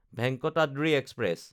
Venkatadri express